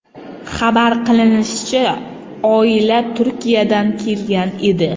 Xabar qilinishicha, oila Turkiyadan kelgan edi.